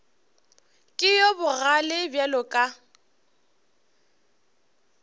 ke yo bogale bjalo ka